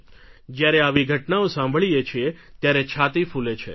જ્યારે આવી ઘટનાઓ સાંભળીએ છીએ ત્યારે છાતી ફૂલે છે